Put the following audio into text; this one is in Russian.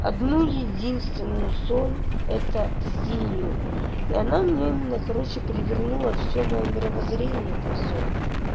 одну единственную соль это синюю и она меня именно короче перевернула всё моё мировоззрение про соль